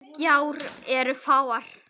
Gjár eru fáar.